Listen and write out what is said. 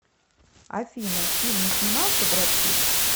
афина в фильме снимался бред питт